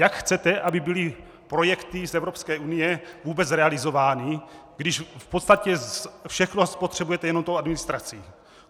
Jak chcete, aby byly projekty z Evropské unie vůbec realizovány, když v podstatě všechno spotřebujete jenom tou administrací?